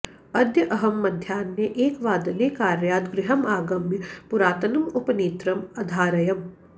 अद्य अहं मध्याह्ने एकवादने कार्यात् गृहम् आगम्य पुरातनम् उपनेत्रम् अधारयम्